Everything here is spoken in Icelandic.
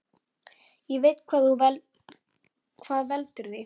Ég veit hvað veldur því.